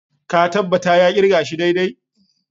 Ka tabbata ya kirga shi daidai?